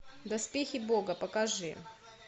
доспехи бога покажи